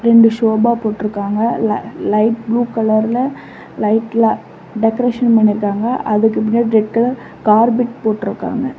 ரெண்டு சோபா போட்ருக்காங்க ல லைட் ப்ளூ கலர்ல லைட்ல டெக்கரேஷன் பண்ணிருக்காங்க அதுக்கு பின்னாடி ரெட் கலர் கார்பெட் போட்டுருக்காங்க.